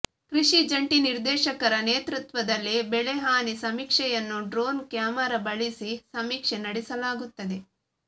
ಕೃಷಿ ಜಂಟಿ ನಿರ್ದೇಶಕರ ನೇತೃತ್ವದಲ್ಲಿ ಬೆಳೆಹಾನಿ ಸಮೀಕ್ಷೆಯನ್ನು ಡ್ರೋನ್ ಕ್ಯಾಮರಾ ಬಳಸಿ ಸಮೀಕ್ಷೆ ನಡೆಸಲಾಗುತ್ತದೆ